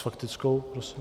S faktickou prosím.